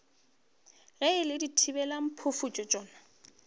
ge e le dithibelamphufutšo tšona